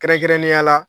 Kɛrɛnkɛrɛnnenya la